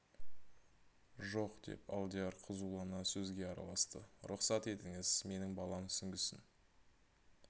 жоқ деп алдияр қызулана сөзге араласты рұқсат етіңіз менің балам сүңгісін